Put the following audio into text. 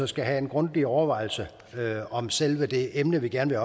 skal have en grundig overvejelse om selve det emne vi gerne